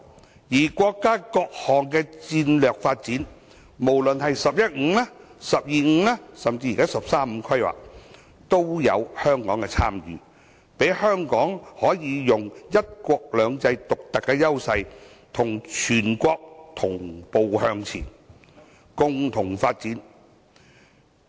同時，國家的各項戰略發展，無論是"十一五"、"十二五"及"十三五"規劃均有香港的參與，讓香港可以發揮"一國兩制"的獨特優勢，與全國同步向前，共同發展。